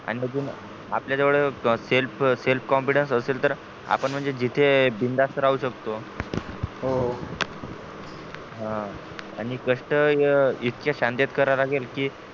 आणि अजून आपल्या जवळ selfself confidence असेल तर पण म्हणजे जिथे बिंदास राहू शकतो हो हा आणि कष्ट इतक्या शांततेत करा लागेल कि